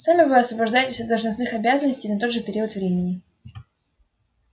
сами вы освобождаетесь от должностных обязанностей на тот же период времени